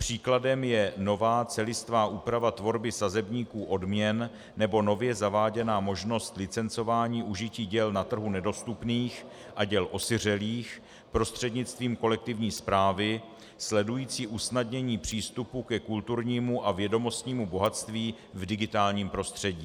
Příkladem je nová celistvá úprava tvorby sazebníků odměn nebo nově zaváděná možnost licencování užití děl na trhu nedostupných a děl osiřelých prostřednictvím kolektivní správy, sledující usnadnění přístupu ke kulturnímu a vědomostnímu bohatství v digitálním prostředí.